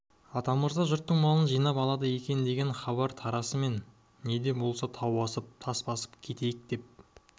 атамырза жұрттың малын жинап алады екен деген хабар тарасымен не де болса тау асып тас басып кетейік деп